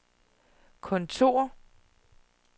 kontor